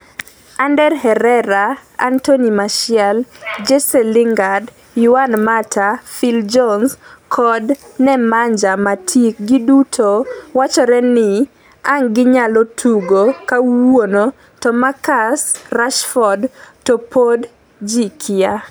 Ander Herrera, Anthony Martial, Jesse Lingard, Juan Mata, Phil Jones kod Nemanja Matic giduto wachore ni ang' ginyal tugo kawuono to Marcus Rashford to pod ji kia